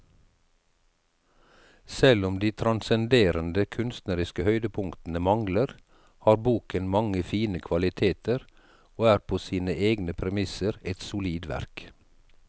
Selv om de transcenderende kunstneriske høydepunktene mangler, har boken mange fine kvaliteter og er på sine egne premisser et solid verk.